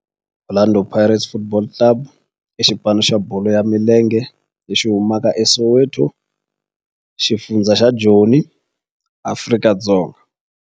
Orlando Pirates Football Club i xipano xa bolo ya milenge lexi humaka eSoweto, xifundzha xa Joni, Afrika-Dzonga.